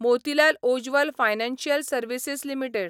Motilal Oswal financial services limited